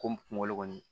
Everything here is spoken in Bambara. Ko kungolo kɔni